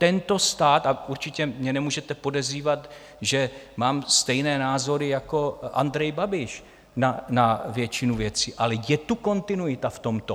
Tento stát, a určitě mě nemůžete podezřívat, že mám stejné názory jako Andrej Babiš na většinu věcí, ale je tu kontinuita v tomto.